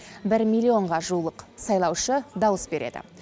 бір миллионға жуық сайлаушы дауыс береді